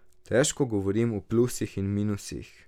Težko govorim o plusih in minusih.